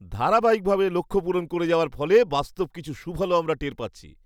ধারাবাহিকভাবে লক্ষ্য পূরণ করে যাওয়ার ফলে বাস্তব কিছু সুফলও আমরা টের পাচ্ছি।